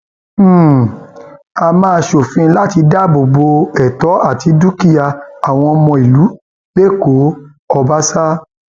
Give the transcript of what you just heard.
um a máa ṣòfin láti dáàbò bo ẹtọ àti dúkìá um àwọn ọmọ onílùú lẹkọọ ọbaṣà